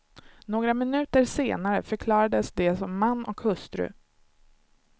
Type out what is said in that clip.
Några minuter senare förklarades de som man och hustru.